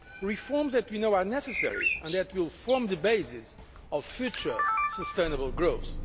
reforms that we know are necessary and that will form the basis of future sustainable growth.